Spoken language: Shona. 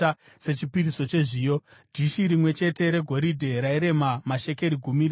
dhishi rimwe chete regoridhe rairema mashekeri gumi, rizere nezvinonhuhwira;